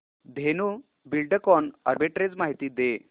Dhenu Buildcon arbitrage माहिती दे